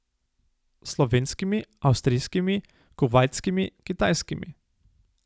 Slovenskimi, avstrijskimi, kuvajtskimi, kitajskimi.